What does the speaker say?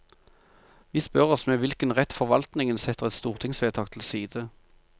Vi spør oss med hvilken rett forvaltningen setter et stortingsvedtak til side.